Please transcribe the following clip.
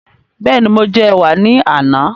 Bẹ́ẹ̀ni, mo jẹ ẹ̀wà ní àná